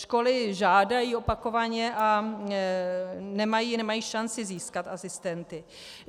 Školy žádají opakovaně a nemají šanci získat asistenty.